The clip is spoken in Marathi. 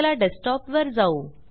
चला डेस्कटॉप वर जाऊ